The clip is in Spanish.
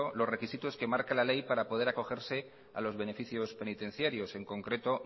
los requisitos que marca la ley para poder acogerse a los beneficios penitenciarios en concreto